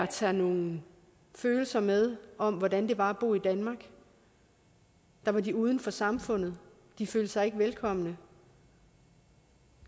tage nogle følelser med om hvordan det var at bo i danmark hvor de var uden for samfundet de følte sig ikke velkomne